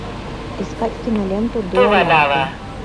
искать киноленту дуэлянты